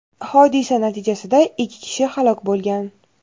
hodisa natijasida ikki kishi halok bo‘lgan.